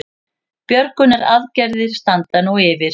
Björgunaraðgerðir standa nú yfir